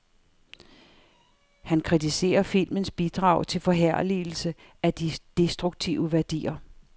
Han kritiserer filmens bidrag til forherligelse af de destruktive værdier.